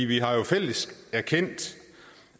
vi har jo fælles erkendt